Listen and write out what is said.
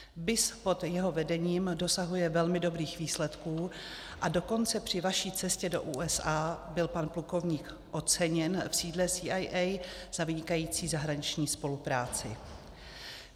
BIS pod jeho vedením dosahuje velmi dobrých výsledků, a dokonce při vaší cestě do USA byl pan plukovník oceněn v sídle CIA za vynikající zahraniční spolupráci.